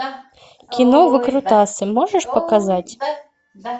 кино выкрутасы можешь показать